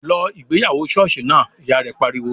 "Lọ ìgbéyàwó ṣọ́ọ̀ṣì náà!", Ìyá rẹ̀ pariwo